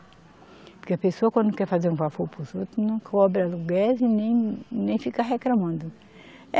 Porque a pessoa, quando quer fazer um favor para os outros, não cobra aluguel e nem, nem fica reclamando.